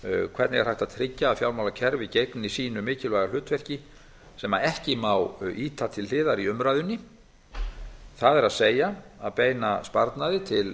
hvernig er hægt að tryggja að fjármálakerfið gegni sínu mikilvæga hlutverki sem ekki má ýta til hliðar í umræðunni það er að beina sparnaði til